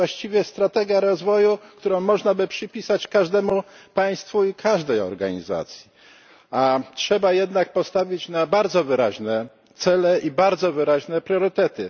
To jest właściwie strategia rozwoju, którą można by przypisać każdemu państwu i każdej organizacji, a trzeba jednak postawić na bardzo wyraźne cele i bardzo wyraźne priorytety.